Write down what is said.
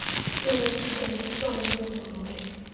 irejista yeefayile evuliweyo